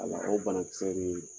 Ala o banakisɛ bɛ yen